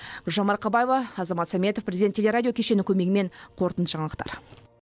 гүлжан марқабаева азамат саметов президент телерадио кешенінің көмегімен қорытынды жаңалықтар